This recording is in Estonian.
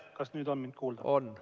Kas nüüd on mind kuulda?